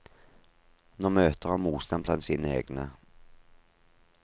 Nå møter han motstand blant sine egne.